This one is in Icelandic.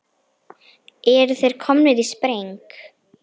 Eru þeir komnir í spreng?